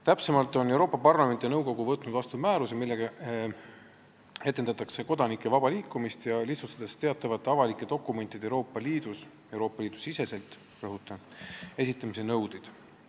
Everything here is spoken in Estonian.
Täpsemalt on Euroopa Parlament ja nõukogu võtnud vastu määruse, millega edendatakse kodanike vaba liikumist, lihtsustades teatavate avalike dokumentide Euroopa Liidus – rõhutan, Euroopa Liidu siseselt – esitamise nõudeid.